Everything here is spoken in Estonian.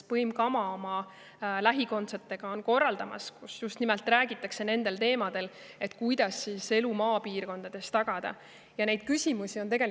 Põim Kama korraldab neid oma lähikondsetega ja seal räägitakse just nimelt nendel teemadel, et kuidas elu maapiirkondades.